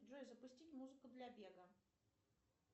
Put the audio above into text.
джой запустить музыку для бега